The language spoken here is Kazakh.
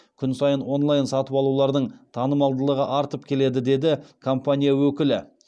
күн сайын онлайн сатып алулардың танымалдығы артып келеді деді компания өкілі